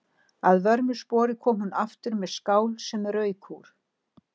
Að vörmu spori kom hún aftur með skál sem rauk úr.